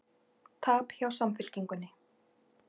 Tap hjá Samfylkingunni